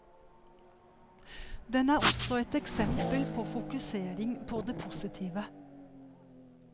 Den er også et eksempel på fokusering på det positive.